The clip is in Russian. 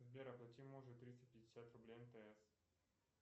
сбер оплати мужу триста пятьдесят рублей мтс